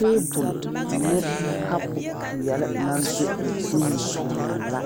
Tabole ne kapu peɛle naŋ be o zuŋ biŋee la